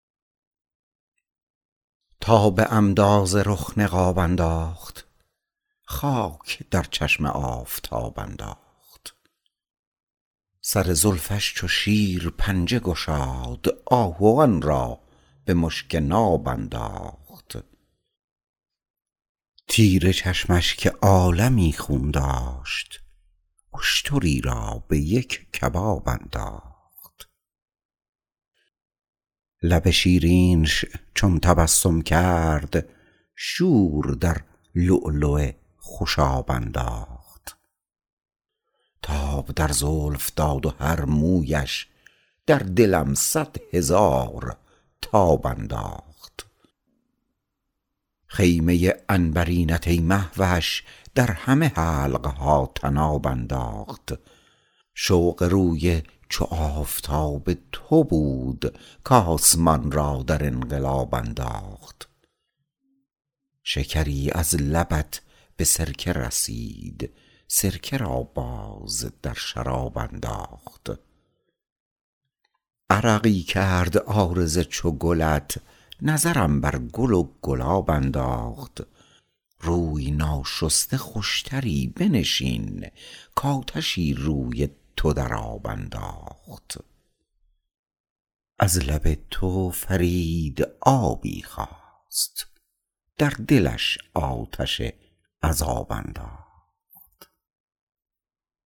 تا به عمدا ز رخ نقاب انداخت خاک در چشم آفتاب انداخت سر زلفش چو شیر پنجه گشاد آهوان را به مشک ناب انداخت تیر چشمش که عالمی خون داشت اشتری را به یک کباب انداخت لب شیرینش چون تبسم کرد شور در لؤلؤ خوشاب انداخت تاب در زلف داد و هر مویش در دلم صد هزار تاب انداخت خیمه عنبرینت ای مهوش در همه حلقها طناب انداخت شوق روی چو آفتاب تو بود کاسمان را در انقلاب انداخت شکری از لبت به سرکه رسید سرکه را باز در شراب انداخت عرقی کرد عارض چو گلت نظرم بر گل و گلاب انداخت روی ناشسته خوشتری بنشین کاتشی روی تو در آب انداخت از لب تو فرید آبی خواست در دلش آتش عذاب انداخت